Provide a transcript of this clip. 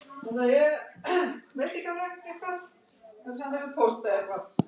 Hann slær á bunkann með reglustikunni.